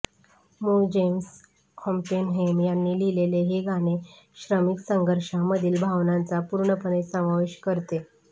मूळ James Oppenheim यांनी लिहिलेले हे गाणे श्रमिक संघर्षांमधील भावनांचा पूर्णपणे समावेश करते